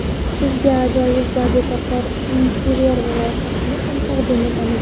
Sizga ajoyib va betakror interyer loyihasini ham taqdim etamiz.